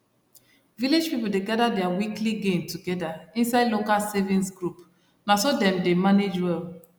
village people dey gather their weekly gain together inside local savings group na so dem dey manage well